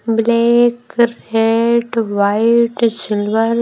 black red white silver --